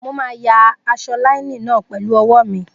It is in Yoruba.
Mo máa yà aṣọ láínìnì náà pẹ̀lú ọwọ́ mi